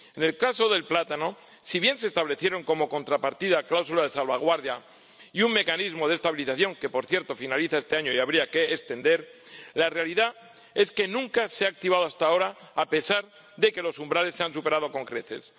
En el caso del plátano, si bien se establecieron como contrapartida cláusulas de salvaguardia y un mecanismo de estabilización —que, por cierto, finaliza este año y habría que extender—, la realidad es que nunca se ha activado hasta ahora, a pesar de que los umbrales se han superado con creces.